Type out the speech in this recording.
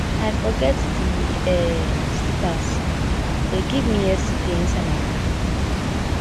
i forget the um slippers dey give me yesterday inside my car